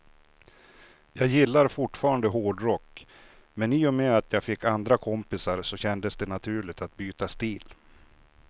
Jag gillar fortfarande hårdrock, men i och med att jag fick andra kompisar så kändes det naturligt att byta stil.